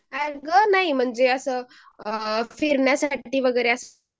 नाही गं नाही म्हणजे असं अ फिरण्यासाठी वगैरे असं